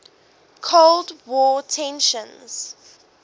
cold war tensions